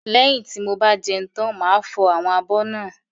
Lẹ́yin tí mo bá jẹun tán máa fọ àwọn abọ́ náà.